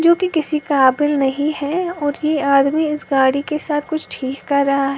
जोकि किसी काबिल नहीं है और ये आदमी इस गाड़ी के साथ कुछ ठीक कर रहा ह--